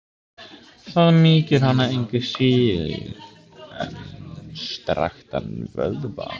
Það mýkir hana engu síður en strekktan vöðva.